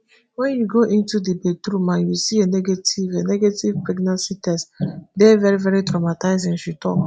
wen you go into di bathroom and you see a negative a negative pregnancy teste dey veri veri traumatizing she tok.